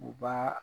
U b'a